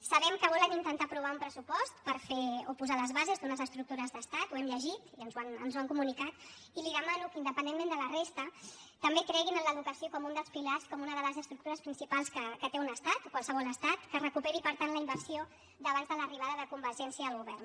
sabem que volen intentar aprovar un pressupost per fer o posar les bases d’unes estructures d’estat ho hem llegit i ens ho han comunicat i li demano que independentment de la resta també creguin en l’educació com un dels pilars com una de les estructures principals que té un estat qualsevol estat que es recuperi per tant la inversió d’abans de l’arribada de convergència al govern